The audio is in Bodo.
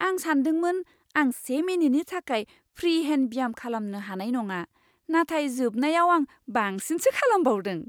आं सानदोंमोन आं से मिनिटनि थाखाय फ्रि हेन्ड ब्याम खालामनो हानाय नङा, नाथाय जोबनायाव आं बांसिनसो खालामबावदों।